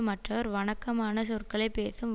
மற்றவர் வணக்கமான சொற்களை பேசும்